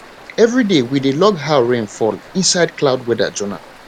everyday we dey log how rain fall inside cloud weather journal